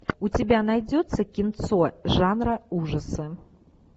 у тебя найдется кинцо жанра ужасы